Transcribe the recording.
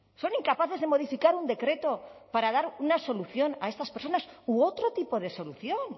son incapaces de modificar un decreto para dar una solución a etas personas u otro tipo de solución